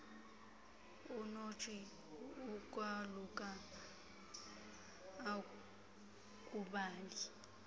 unotshei ukwaluka akudali